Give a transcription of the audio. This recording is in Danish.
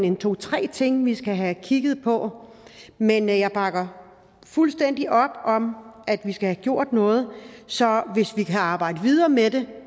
en to tre ting vi skal have kigget på men jeg bakker fuldstændig op om at vi skal have gjort noget så hvis vi kan arbejde videre med det